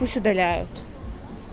пусть удаляют